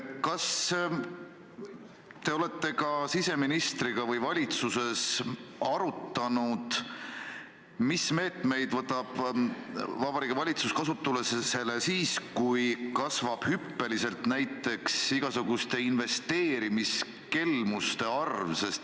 Kas te olete ka siseministriga või valitsuses arutanud, mis meetmeid võtab Vabariigi Valitsus kasutusele siis, kui kasvab hüppeliselt näiteks igasuguste investeerimiskelmuste arv?